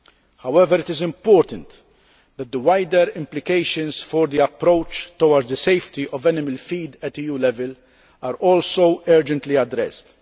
However, it is important that the wider implications for the approach towards the safety of animal feed at EU level are also urgently addressed.